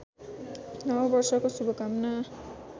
नव वर्षको शुभकामना